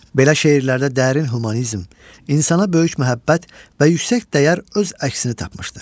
Belə şeirlərdə dərin humanizm, insana böyük məhəbbət və yüksək dəyər öz əksini tapmışdır.